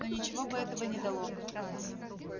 но ничего бы этого не дало